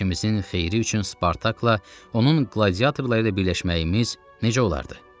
İşimizin xeyri üçün Spartakla onun qladiatorları ilə birləşməyimiz necə olardı?